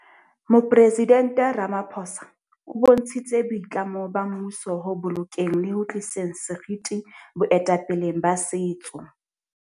Ha a etsa kopo ka nako ka lebaka le itseng kapa ha a etsa kopo ho hang.